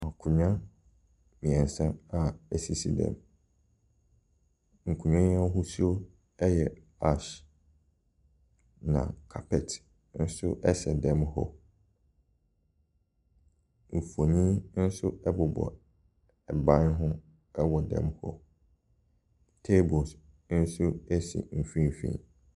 Akonwa mmiɛnsa a esisi dɛm. Nkonwa yi ahosuo ɛyɛ ash na carpet nso ɛsɛ dɛm mu hɔ. Nfoni ɛnso ɛbobɔ ban ho ɛwɔ dɛm hɔ. Tables nso esi mfimfin.